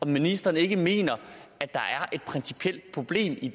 ministeren ikke mener at der er et principielt problem i